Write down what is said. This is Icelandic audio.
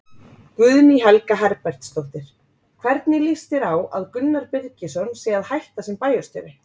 Guðný Helga Herbertsdóttir: Hvernig lýst þér á að Gunnar Birgisson sé að hætta sem bæjarstjóri?